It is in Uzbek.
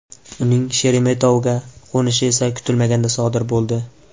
Uning Sheremetovoga qo‘nishi esa kutilmaganda sodir bo‘ldi.